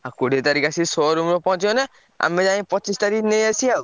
ଆଉ କୋଡିଏ ତାରିଖ୍ ଆସି showroom ରେ ପହଁଞ୍ଚିଗଲେ ଆମେ ଯାଇ ପଚିଶି ତାରିଖ୍ ନେଇ ଆସିଆ ଆଉ।